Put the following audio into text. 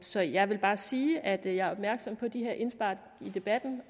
så jeg vil bare sige at jeg er opmærksom på de her indspark i debatten